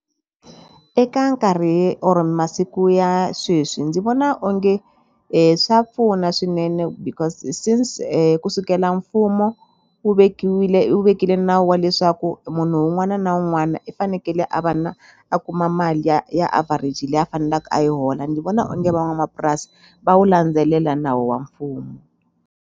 Eka nkarhi or masiku ya sweswi ndzi vona onge swa pfuna swinene because since kusukela mfumo wu vekiwile wu vekile nawu wa leswaku munhu wun'wana na wun'wana i fanekele a va na a kuma mali ya ya average leyi a fanelaku a yi hola ni vona onge van'wamapurasi va wu landzelela nawu wa mfumo.